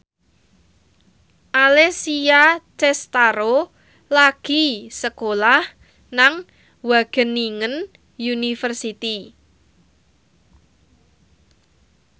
Alessia Cestaro lagi sekolah nang Wageningen University